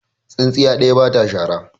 Tsintsiya ɗaya ba ta shara.